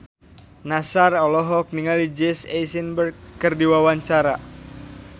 Nassar olohok ningali Jesse Eisenberg keur diwawancara